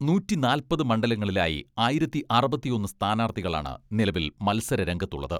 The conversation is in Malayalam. നൂറ്റിനാല്പത് മണ്ഡലങ്ങളിലായി ആയിരത്തി അറുപത്തിയൊന്ന് സ്ഥാനാർഥികളാണ് നിലവിൽ മത്സര രംഗത്തുള്ളത്.